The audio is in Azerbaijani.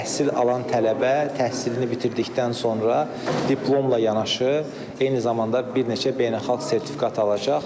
Təhsil alan tələbə təhsilini bitirdikdən sonra diplomla yanaşı, eyni zamanda bir neçə beynəlxalq sertifikat alacaq.